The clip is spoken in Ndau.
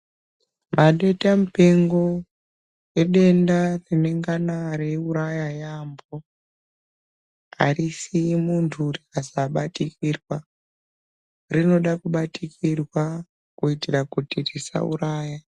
Maditamupengo idenda rinengana reiuraya yaambo arisiyi muntu rikasabatikirwa rinoda kubatikirwa kuitira kuti risauraya.